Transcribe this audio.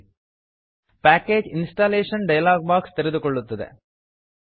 package installation package installation dialog box ತೆರೆದುಕೊಳ್ಳುತ್ತದೆ